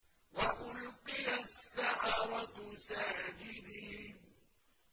وَأُلْقِيَ السَّحَرَةُ سَاجِدِينَ